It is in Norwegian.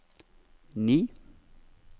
ni